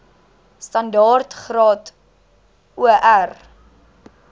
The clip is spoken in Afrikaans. standaard graad or